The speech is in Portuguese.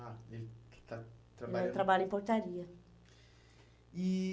Ah, ele está trabalha... Ele trabalha em portaria. E